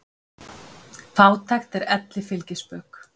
Fátækt er elli fylgispök.